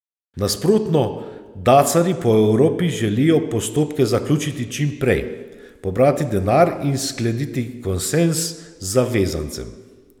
Nasprotno dacarji po Evropi želijo postopke zaključiti čim prej, pobrati denar in skleniti konsenz z zavezancem.